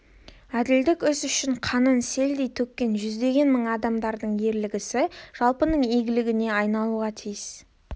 әділдік іс үшін қанын селдей төккен жүздеген мың адамдардың ерлік ісі жалпының игілігіне айналуға тиіс